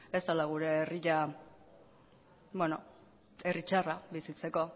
ez dela gure herria herri txarra bizitzeko